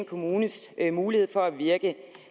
kommunes mulighed for at virke